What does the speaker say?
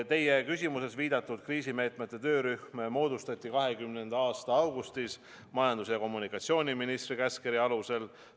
Teie küsimuses viidatud kriisimeetmete töörühm moodustati 2020. aasta augustis majandus- ja kommunikatsiooniministri käskkirja alusel.